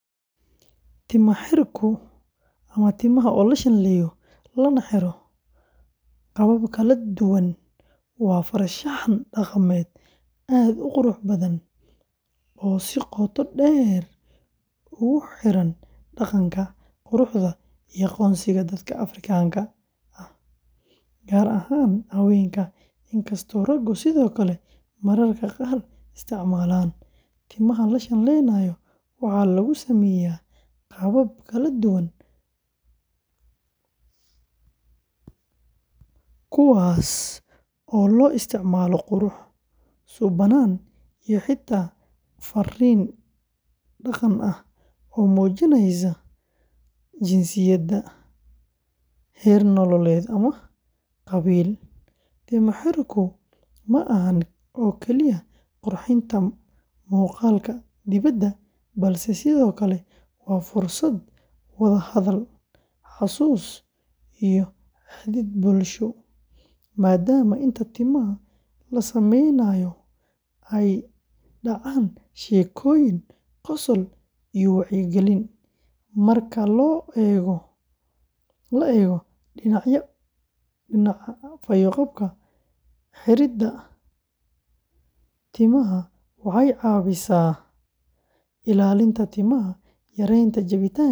Timo-xirku ama timaha la shanleeyo lana xiro qaabab kala duwan, waa farshaxan dhaqameed aad u qurux badan oo si qoto dheer ugu xidhan dhaqanka, quruxda iyo aqoonsiga dadka Afrikaanka ah, gaar ahaan haweenka, inkastoo raggu sidoo kale mararka qaar isticmaalaan; timaha la shanleeyo waxaa lagu sameeyaa qaabab kala duwan, kuwaas oo loo isticmaalo qurux, suuban, iyo xitaa fariin dhaqan ah oo muujinaysa jinsiyad, da’, heer nololeed ama qabiil; timo-xirku ma ahan oo kaliya qurxinta muuqaalka dibadda, balse sidoo kale waa fursad wada hadal, xasuus iyo xidhiidh bulsho, maadaama inta timaha la sameynayo ay dhacaan sheekooyin, qosol iyo wacyigelin; marka la eego dhinaca fayo-qabka, xiridda timaha waxay caawisaa ilaalinta timaha, yaraynta jabitaanka.